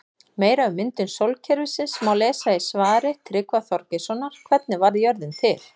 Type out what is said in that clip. Meira um myndun sólkerfisins má lesa í svari Tryggva Þorgeirssonar Hvernig varð jörðin til?